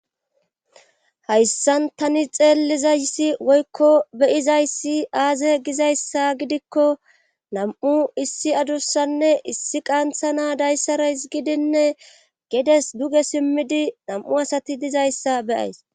hayssan tani xeellizayssi woykko be7izayssi aaze gizayssa gidikko nam7u issi adussanne issi qantha na dayssara izgidinne gedes duge simmidi nam7u asati dizayssa be7ays